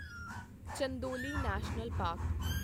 Chandoli national park